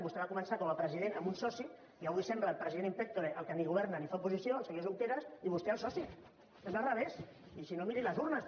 vostè va començar com a president amb un soci i avui sembla el president in pectore el que ni governa ni fa oposició el senyor junqueras i vostè el soci sembla al revés i si no miri les urnes